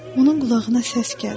Onun qulağına səs gəldi: